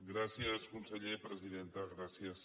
gràcies conseller presidenta gràcies